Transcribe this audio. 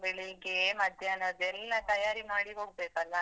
ಬೆಳಿಗ್ಗೆ, ಮಧ್ಯಾಹ್ನದೆಲ್ಲಾ ತಯಾರಿ ಮಾಡಿ ಹೋಗ್ಬೇಕಲ್ಲಾ?